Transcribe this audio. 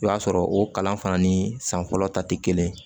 I b'a sɔrɔ o kalan fana ni san fɔlɔ ta tɛ kelen ye